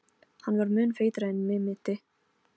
Hann var mun feitari en mig minnti.